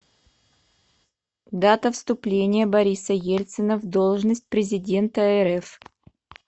дата вступления бориса ельцина в должность президента рф